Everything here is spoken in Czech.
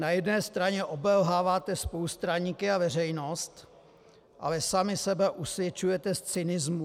Na jedné straně obelháváte spolustraníky a veřejnost, ale sami sebe usvědčujete z cynismu...